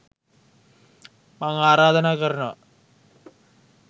මං ආරාධනා කරනවා